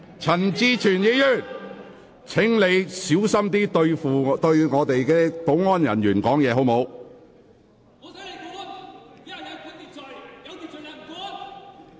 陳志全議員，請小心你對保安人員說話的態度。